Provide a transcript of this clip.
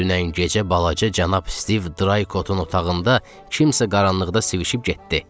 Dünən gecə balaca cənab Stiv Draykotun otağında kimsə qaranlıqda sivişib getdi.